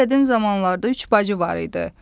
Çox qədim zamanlarda üç bacı var idi.